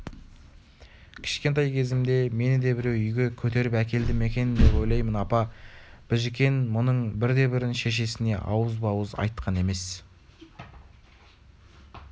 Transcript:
кішкентай кезімде мені де біреу үйге көтеріп әкелді ме екен деп ойлаймын апа біжікен мұның бірде-бірін шешесіне ауызба-ауыз айтқан емес